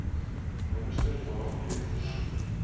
minister daartoe versoek